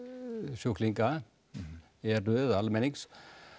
sjúklinga eru eða almennings